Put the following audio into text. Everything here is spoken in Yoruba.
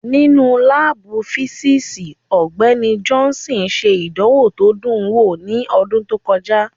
Nínú láàbù físíìsì, Ọgbẹ́ni Johnson ṣe ìdánwò tó dùn wò ní ọdún tó kọjá